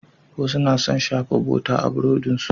Wasu na son shafa bota a burodinsu.